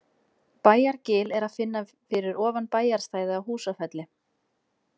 Bæjargil er að finna fyrir ofan bæjarstæði á Húsafelli.